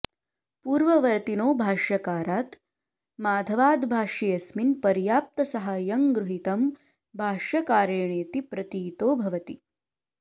पूर्ववर्तिनो भाष्यकारात् माधवाद्भाष्येऽस्मिन् पर्याप्तसाहाय्यं गृहीतं भाष्यकारेणेति प्रतीतो भवति